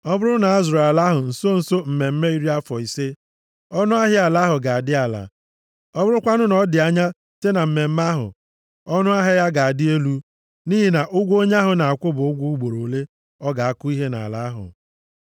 Ọ bụrụ na a zụrụ ala ahụ nso nso mmemme iri afọ ise a, ọnụahịa ala ahụ ga-adị ala, ọ bụrụkwanụ na ọ dị anya site na mmemme ahụ, ọnụahịa ya ga-adị elu, nʼihi na ụgwọ onye ahụ na-akwụ bụ ụgwọ ugboro ole ọ ga-akụ ihe nʼala ahụ.